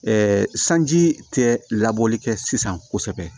sanji tɛ labɔli kɛ sisan kosɛbɛ